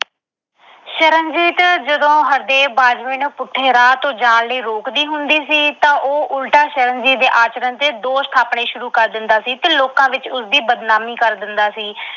ਸ਼ਰਨਜੀਤ ਜਦੋਂ ਹਰਦੇਵ ਬਾਜਵੇ ਨੂੰ ਪੁੱਠੇ ਰਾਹ ਤੋਂ ਜਾਣ ਲਈ ਰੋਕਦੀ ਹੁੰਦੀ ਸੀ, ਤਾਂ ਉਹ ਉਲਟਾ ਸ਼ਰਨਜੀਤ ਦੇ ਆਚਰਣ ਤੇ ਦੋਸ਼ ਠਾਪਣੇ ਸ਼ੁਰੂ ਕਰ ਦਿੰਦਾ ਸੀ ਤੇ ਲੋਕਾਂ ਵਿੱਚ ਉਸ ਦੀ ਬਦਨਾਮੀ ਕਰ ਦਿੰਦਾ ਸੀ।